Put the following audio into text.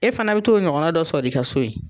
E fana bi t'o ɲɔgɔnna dɔ sɔrɔ i ka so yen.